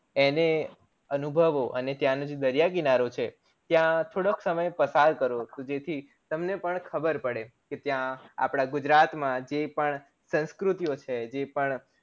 એને અનુભવો અને ત્યાનોજે દરિયા કિનારો છે ત્યાં થોડોક સમય પસાર કરો જેથી તમને પણ ખબર પડે કે ત્યાં જે અપડા ગુજરાત માં જે પણ સંસ્કૃતિઓ છે જે પણ